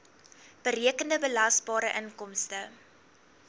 berekende belasbare inkomste